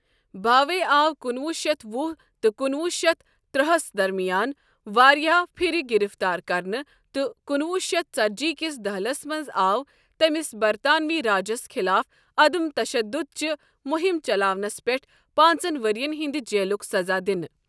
بھاوے آو کُنوُہ شیتھ وُہ تہٕ کُنوُہ شیتھ ترٛہہَس درمیان واریاہہِ پھرِ گرفتار کَرنہٕ تہٕ کُنوُہ شیتھ ژتجی کِس دٔہلِس منٛز آو تٔمِس برتانوی راجَس خلاف عدم تشدُدٕچ مُہِم چلاونَس پٮ۪ٹھ پانٛژَن ؤرین ہنٛدِ جیلُک سزا دِنہٕ۔